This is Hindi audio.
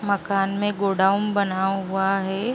मकान मे गोडाउन बना हुआ है।